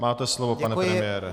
Máte slovo, pane premiére.